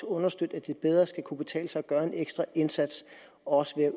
understøtte at det bedre skal kunne betale sig at gøre en ekstra indsats også ved at